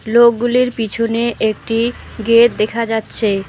লোকগুলির পিছনে একটি গেট দেখা যাচ্ছে।